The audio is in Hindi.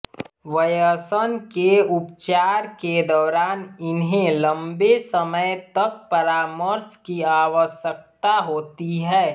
व्यसन के उपचार के दौरान इन्हें लम्बे समय तक परामर्श की आवश्यकता होती है